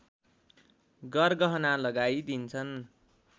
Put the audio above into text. गरगहना लगाई दिन्छन्